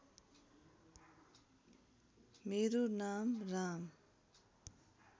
मेरो नाम राम